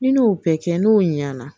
Ni ne y'o bɛɛ kɛ n'o ɲɛna